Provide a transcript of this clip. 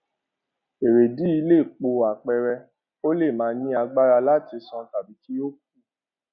èrèdìí yìí lè pò àpẹẹrẹ ó le màa ní agbára láti sán tàbí kí ó kú